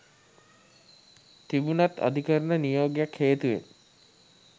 තිබුණත් අධිකරණ නියෝගයක් හේතුවෙන්